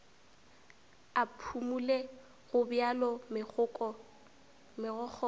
a phumole gobjalo megokgo ka